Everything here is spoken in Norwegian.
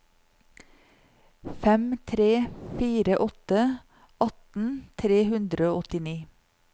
fem tre fire åtte atten tre hundre og åttini